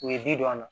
U ye bi don a la